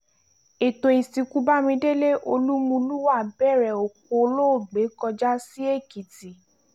ètò ìsìnkú bámidélé olúmulúà bẹ̀rẹ̀ òkú olóògbé kọjá sí èkìtì